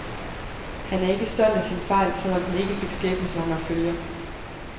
Han er ikke stolt af sin fejl, selv om den ikke fik skæbnesvangre følger.